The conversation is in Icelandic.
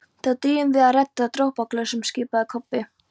Þá drífum við í að redda dropaglösum, skipaði Kobbi.